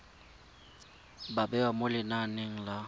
ba bewa mo lenaneng la